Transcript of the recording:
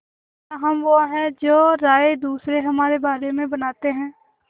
क्या हम वो हैं जो राय दूसरे हमारे बारे में बनाते हैं